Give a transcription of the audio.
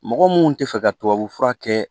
Mɔgɔ mun tɛ fɛ ka tubabu fura kɛ